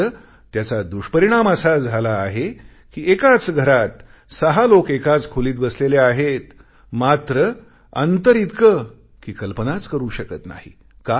मात्र त्याचा दुष्परिणाम असा झाला आहे कि एकाच घरात सहा लोक एकाच खोलीत बसलेले आहेत मात्र अंतर इतके कि कल्पनाच करू शकत नाही